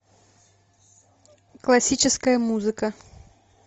классическая музыка